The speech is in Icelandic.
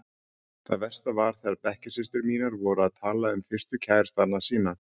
Það versta var þegar bekkjarsystur mínar voru að tala um fyrstu kærastana sína.